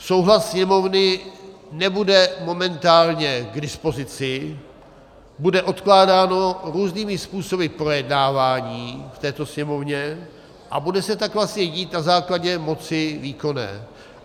Souhlas Sněmovny nebude momentálně k dispozici, bude odkládáno různými způsoby projednávání v této Sněmovně a bude se tak vlastně dít na základě moci výkonné.